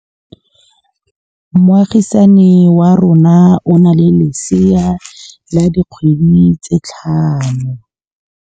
Moagisane wa rona o na le lesea la dikgwedi tse tlhano.